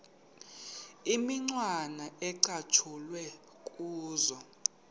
imicwana ecatshulwe kuzo